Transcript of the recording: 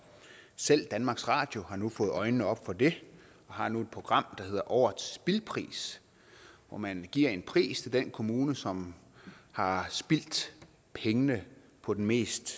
selv danmarks radio har nu fået øjnene op for det og har nu et program der hedder årets spild pris hvor man giver en pris til den kommune som har spildt pengene på den mest